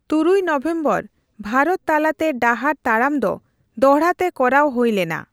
ᱛᱩᱨᱩᱭ ᱱᱚᱵᱷᱮᱢᱵᱚᱨ ᱵᱷᱟᱨᱚᱛ ᱛᱟᱞᱟᱛᱮ ᱰᱟᱦᱟᱨ ᱛᱟᱲᱟᱢ ᱫᱚ ᱫᱚᱲᱦᱟᱛᱮ ᱠᱚᱨᱟᱣ ᱦᱳᱭ ᱞᱮᱱᱟ ᱾